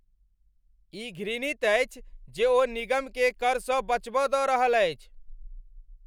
ई घृणित अछि जे ओ निगमकेँ करसँ बचब दऽ रहल छथि।